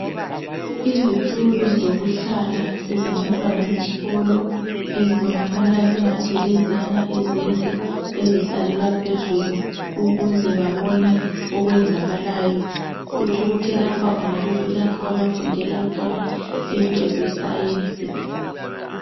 Izitulo zokuhlala ezabantwana besikolo ezibonakala sengathi yileziyana ezinde ezihlalelwa phezulu ukuze babone okwenzakalayo kutshukuthi lapha kungabe kulapho abafundela khona into zescience.